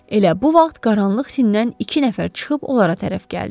Elə bu vaxt qaranlıq tinindən iki nəfər çıxıb onlara tərəf gəldi.